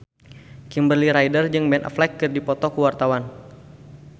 Kimberly Ryder jeung Ben Affleck keur dipoto ku wartawan